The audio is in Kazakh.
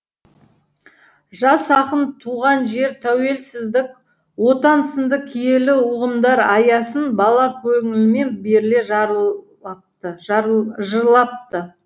жас ақын туған жер тәуелсіздік отан сынды киелі ұғымдар аясын бала көңілімен беріле жырлапты